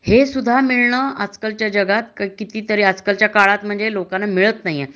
हे सुद्धा मिळन आज-कालच्या जगात कती तरी आजच्या काळात त्यांना मिळत नाही